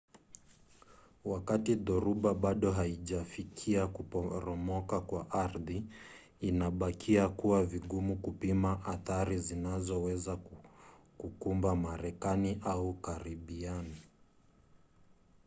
wakati dhoruba bado haijafikia kuporomoka kwa ardhi inabakia kuwa vigumu kupima athari zinazoweza kukumba marekani au karibian